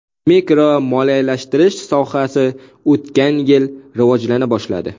Mikromoliyalashtirish sohasi o‘tgan yil rivojlana boshladi.